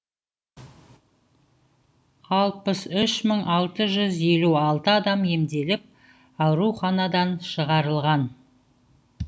алпыс үш мың алты жүз елу алты адам емделіп ауруханадан шығарылған